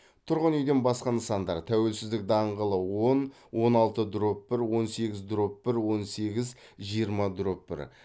тұрғын үйден басқа нысандар тәуелсіздік даңғылы он он алты дробь бір он сегіз дробь бір он сегіз жиырма дробь бір